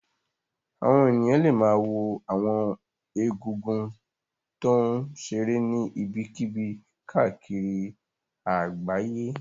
Àwọn èèyàn lè ma wo àwọn egúngún tó ń ṣeré ní ibikíbi káàkiri àgbáyé